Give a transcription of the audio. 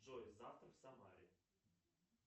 джой завтра в самаре